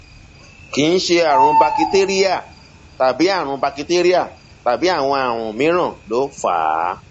kì í ṣe àrùn bakitéríà tàbí àrùn bakitéríà tàbí àwọn àrùn mìíràn ló ń fà á